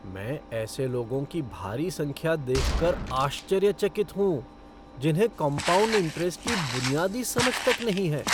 मैं ऐसे लोगों की भारी संख्या देख कर आश्चर्यचकित हूँ जिन्हें कॉम्पाउंड इंट्रेस्ट की बुनियादी समझ तक नहीं है।